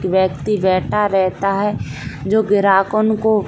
व्यक्ति बैठा रहता है जो ग्राहकन को --